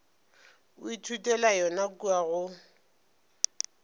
o ithutela yona kua go